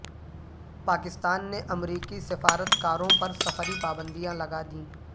پاکستان نے امریکی سفارت کاروں پر سفری پابندیاں لگادیں